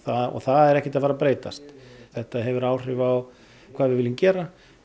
og það er ekkert að fara að breytast þetta hefur áhrif á hvað við viljum gera